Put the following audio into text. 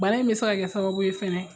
Bana in bɛ se ka kɛ sababu ye